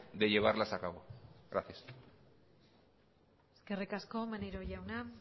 de llevarlas a cabo gracias eskerrik asko maneiro jauna